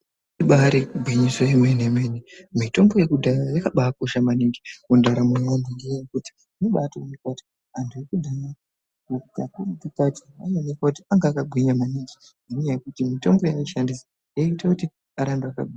Ibari gwinyiso yemene mene mitombo yekudhaya yakabaa kosha maningi mundaramo yeaantu ngenyaya yekuti zvinobatoonekwa kutiantu ekudhaya kakurutu kacho anoonekwa kuti anga akagwinya maningi ngenyaya yekuti mitombo yaishandisa yaita kuti arambe akagwinya.